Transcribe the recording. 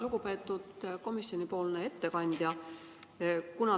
Lugupeetud komisjoni ettekandja!